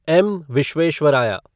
M. Visvesvaraya